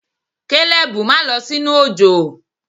Kalebu ma lọ sinu ojo!